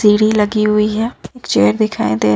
लगी हुई है एक चेयर दे र--